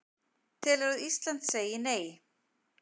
Telur að Ísland segi Nei